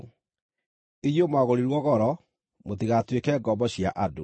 Inyuĩ mwagũrirwo goro; mũtigatuĩke ngombo cia andũ.